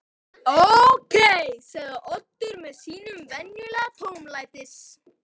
Ókei sagði Oddur með sínum venjulega tómlætis